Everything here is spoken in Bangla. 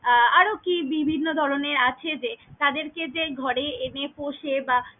আহ আরকি বিভিন্ন ধরনের আছে যে তাদের কে যে ঘরে এনে পোষে বা।